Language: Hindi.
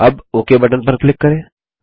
अब ओक बटन पर क्लिक करें